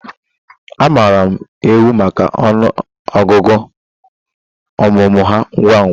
A maara ewi maka ọnụ ọgụgụ ọmụmụ ha ngwa ngwa